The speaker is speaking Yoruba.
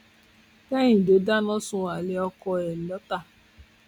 kẹhìndé dáná sun alẹ ọkọ ẹ lọtà